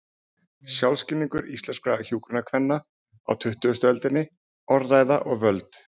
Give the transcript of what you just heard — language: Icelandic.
Sjálfsskilningur íslenskra hjúkrunarkvenna á tuttugustu öldinni: Orðræða og völd.